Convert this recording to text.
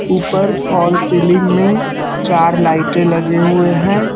ऊपर hall ceiling में चार लाइटे लगे हुए हैं।